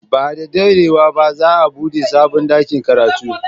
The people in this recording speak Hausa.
Ba da daɗewa ba za a buɗe sabon ɗakin karatu.